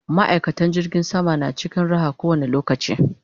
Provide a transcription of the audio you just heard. ma'aikatan jirgin sama na cikin Raha ko wani lokaci